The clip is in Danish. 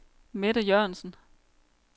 Mette Jørgensen